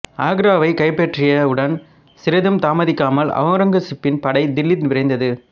ஆக்ராவை கைப்பற்றியவுடன் சிறிதும் தாமதிக்காமல் ஔரங்கசீப்பின் படை தில்லி விரைந்தது